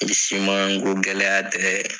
Ni simanko gɛlɛ tɛ.